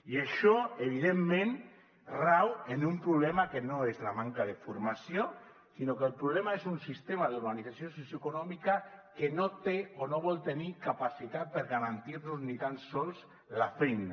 i això evidentment rau en un problema que no és la manca de formació sinó que el problema és un sistema d’organització socioeconòmica que no té o no vol tenir capacitat per garantir nos ni tan sols la feina